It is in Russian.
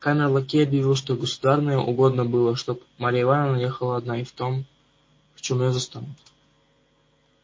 камер-лакей объявил что государыне угодно было чтоб марья ивановна ехала одна и в том в чём её застанут